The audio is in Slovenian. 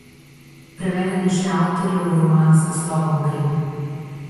Preveden je še avtorjev roman z naslovom Grem.